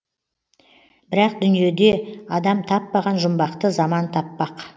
бірақ дүниеде адам таппаған жұмбақты заман таппақ